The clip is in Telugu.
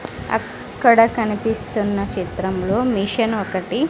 అక్కడ కనిపిస్తున్న చిత్రంలో మిషన్ ఒకటి.